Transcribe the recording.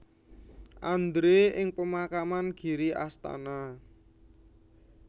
Andre ing pemakaman Giri Astana